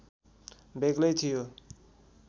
बेग्लै थियो